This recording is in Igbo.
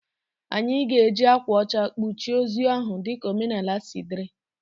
Anyị ga-eji akwa ọcha kpuchie ozu ahụ dị ka omenaala si dịrị.